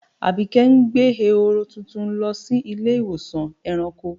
Àbíké ń gbẹ̀ è̩hórò tuntun lọ sí ilẹ̀-ìwọsàn ẹ̀ràǹkò.